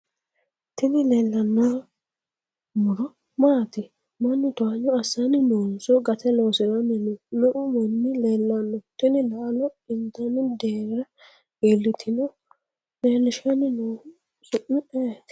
Tini leelranno muro maati? Mannu towanyo assanni noonso gate loosiranni no? me'u manni leellanno? Tini laalo intanni deerra iillitino? Leellishanni noohu su'mi ayeeti?